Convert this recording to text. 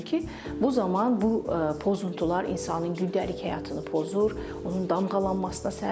bu zaman bu pozuntular insanın gündəlik həyatını pozur, onun damğalanmasına səbəb olur.